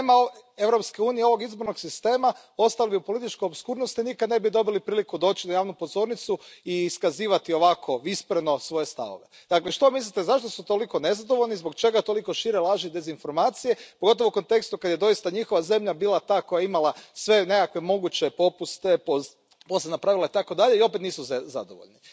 Da nema Europske unije i ovog izbornog sistema ostali bi u političkoj opskurnosti i nikada ne bi dobili priliku doći na javnu pozornicu i iskazivati ovako vispreno svoje stavove. Dakle, što mislite zašto su toliko nezadovoljni, zbog čega toliko šire laži, dezinformacije, pogotovo u kontekstu kad je doista njihova zemlja bila ta koja je imala sve moguće popuste, posebna pravila, i opet nisu zadovoljni.